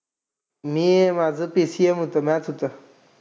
मी माझं PCM होतं. math होतं